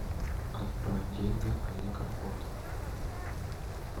отправь деньги олег работа